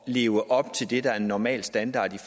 at leve op til det der er normal standard